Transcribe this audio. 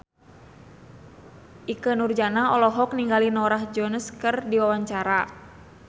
Ikke Nurjanah olohok ningali Norah Jones keur diwawancara